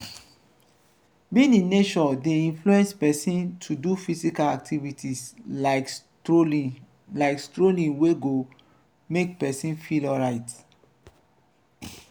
being in nature de inflence persin to do physical activities like strolling like strolling we go make persin feel alright